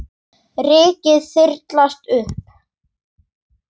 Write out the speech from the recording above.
Rykið þyrlast upp.